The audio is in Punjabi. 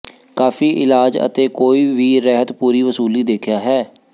ਕਾਫੀ ਇਲਾਜ ਅਤੇ ਕੋਈ ਵੀ ਰਹਿਤ ਪੂਰੀ ਵਸੂਲੀ ਦੇਖਿਆ ਹੈ